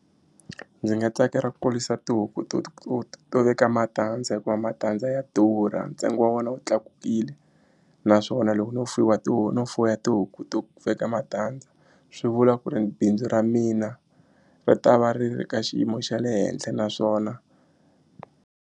Ndzi nga tsakela ku kurisa tihuku to to veka matandza hikuva matandza ya durha ntsengo wa wona wu tlakukile naswona loko no no fuya tihuku to veka matandza swi vula ku ri bindzu ra mina ri ta va ri ri ka xiyimo xa le henhla naswona.